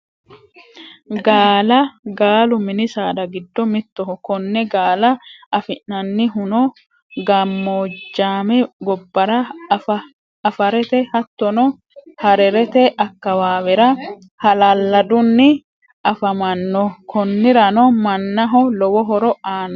Gaala, gaallu mini saada gido mitoho, kone gaala afinanihunno gamoojaame gobara afarete hattono harerete akawawera halaladunni afamanno, konnirano manaho lowo horo aanno